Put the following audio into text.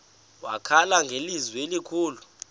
wakhala ngelizwi elikhulu